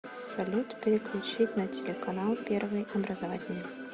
салют переключить на телеканал первый образовательный